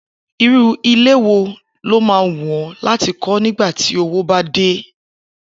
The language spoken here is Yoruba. Irú ilé wo ló máa wù ó̩ láti kó̩ nígbà ti owó bá dé?